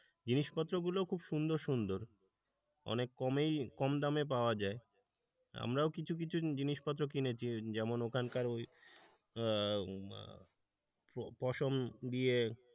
জিনিসপত্র গুলো খুব সুন্দর সুন্দর অনেক কমেই কম দামে পাওয়া যায় আমরাও কিছু কিছু জিনিসপত্র কিনেছি যেমন ওখানকার ওই পশম দিয়ে,